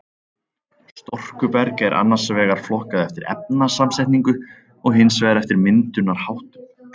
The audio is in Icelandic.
Storkuberg er annars vegar flokkað eftir efnasamsetningu og hins vegar eftir myndunarháttum.